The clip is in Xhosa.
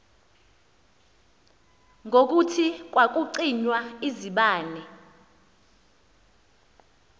ngokuthi kwakucinywa izibane